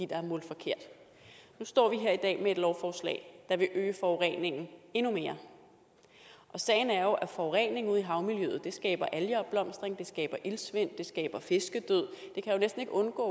der er målt forkert nu står vi her i dag med et lovforslag der vil øge forureningen endnu mere og sagen er jo at forureningen ude i havmiljøet skaber algeopblomstring det skaber iltsvind det skaber fiskedød det kan jo næsten ikke undgå